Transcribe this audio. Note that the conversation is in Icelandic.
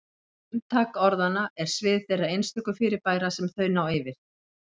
Umtak orðanna er svið þeirra einstöku fyrirbæra sem þau ná yfir.